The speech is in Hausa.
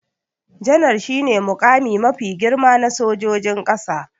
Janar shi ne muƙami mafi girma na sojojin ƙasa